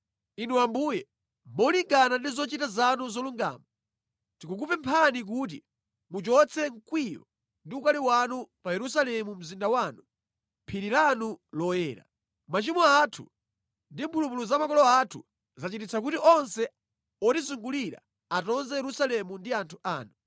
Inu Ambuye, molingana ndi zochita zanu zolungama, tikukupemphani kuti muchotse mkwiyo ndi ukali wanu pa Yerusalemu mzinda wanu, phiri lanu loyera. Machimo athu ndi mphulupulu za makolo athu zachititsa kuti onse otizungulira atonze Yerusalemu ndi anthu anu.